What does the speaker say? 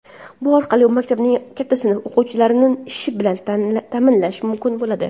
Bu orqali maktabning katta sinf o‘quvchilarini ish bilan ta’minlash mumkin bo‘ladi.